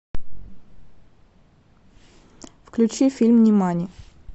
включи фильм нимани